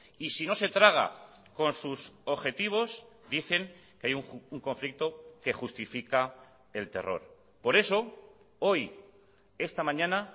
y si no se traga con sus objetivos dicen que hay un conflicto que justifica el terror por eso hoy esta mañana